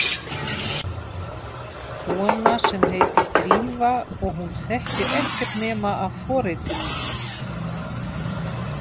Kona sem heitir Drífa og hún þekkir ekkert nema af forritinu.